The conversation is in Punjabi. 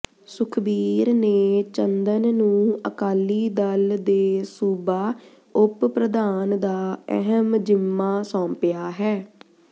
ਸੁਖਬੀਰ ਨੇ ਚੰਦਨ ਨੂੰ ਅਕਾਲੀ ਦਲ ਦੇ ਸੂਬਾ ਉਪ ਪ੍ਰਧਾਨ ਦਾ ਅਹਿਮ ਜ਼ਿੰਮਾ ਸੌਂਪਿਆ ਹੈ